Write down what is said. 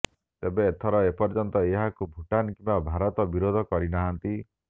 ତେବେ ଏଥର ଏପର୍ୟ୍ୟନ୍ତ ଏହାକୁ ଭୁଟାନ୍ କିମ୍ବା ଭାରତ ବିରୋଧ କରି ନାହାନ୍ତି